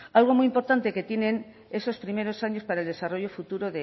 algo muy importante que tienen esos primeros años para el desarrollo futuro